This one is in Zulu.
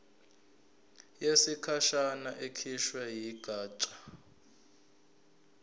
yesikhashana ekhishwe yigatsha